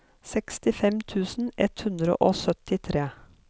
sekstifem tusen ett hundre og syttitre